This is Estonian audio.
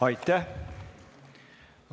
Aitäh!